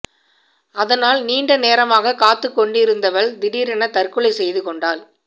அதனால் நீண்ட நேரமாகக் காத்துக் கொண்டிருந்தவள் திடீரெனத் தற்கொலை செய்து கொண்டாள்